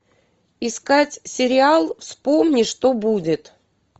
искать сериал вспомни что будет